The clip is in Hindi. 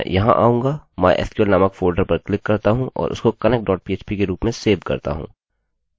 मैं यहाँ आऊँगा mysql नामक फोल्डर पर क्लिक करता हूँ और उसको connectphp के रूप में सेव करता हूँ